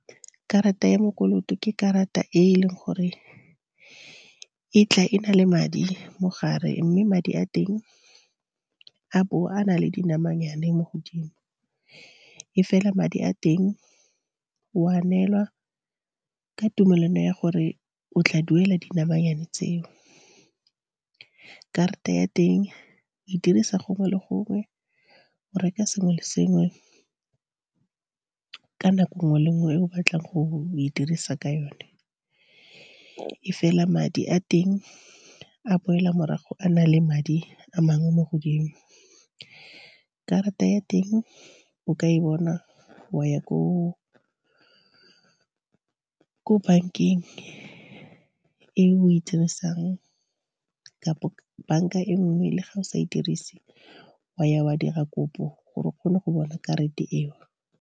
Karata ya mokoloto ke karata e e leng gore e tla e na le madi mogare, mme madi a teng a bo a na le dinamanyane mo godimo. E fela madi a teng o a nelwa ka tumelano ya gore o tla duela dinamanyane tseo. Karata ya teng o e dirisa gongwe le gongwe, o reka sengwe le sengwe, ka nako nngwe le nngwe e o batlang go e dirisa ka yone. E fela madi a teng a boela morago a na le madi a mangwe mo godimo. Karata ya teng o ka e bona wa ya ko bank-eng e o e dirisang, kampo bank-a e nngwe le ga o sa e dirise wa ya wa dira kopo gore o kgone go bona karate eo.